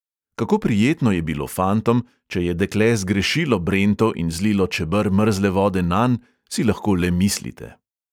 Kako prijetno je bilo fantom, če je dekle zgrešilo brento in zlilo čeber mrzle vode nanj, si lahko le mislite.